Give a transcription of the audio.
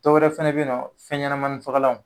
Dɔwɛrɛ fɛnɛ bɛe ye nɔ fɛn ɲɛnɛmani fagalanw